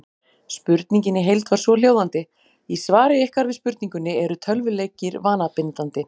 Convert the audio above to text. Spurningin í heild var svohljóðandi: Í svari ykkar við spurningunni Eru tölvuleikir vanabindandi?